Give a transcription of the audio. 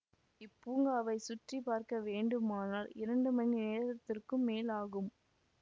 இப்பூங்காவைச் சுற்றிப்பார்க்க வேண்டுமானால் இரண்டு மணி நேரத்திற்கும் மேல் ஆகும்